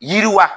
Yiriwa